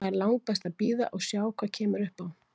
Það er langbest að bíða og sjá hvað kemur upp á.